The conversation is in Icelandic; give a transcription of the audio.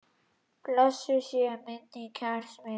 Blessuð sé minning kærs vinar.